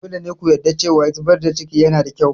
Dole ne ku yarda cewa zubar da cikin yanada kyau.